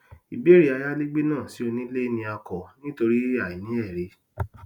ìbéèrè ayálégbé náà sí onílẹ ni a kọ nítorí àìní ẹrí